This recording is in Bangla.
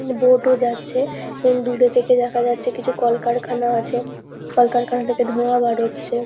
অম বোট -ও যাচ্ছে এবং দূরে থেকে দেখা যাচ্ছে কিছু কলকারখানা আছে। কলকারখানা থেকে ধোঁয়া বার হচ্ছে।